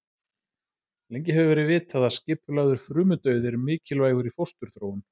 Lengi hefur verið vitað að skipulagður frumudauði er mikilvægur í fósturþróun.